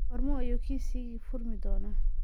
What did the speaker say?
Goorma ayuu Kisiagi furmi doonaa?